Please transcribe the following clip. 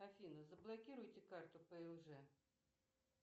афина заблокируйте карту плж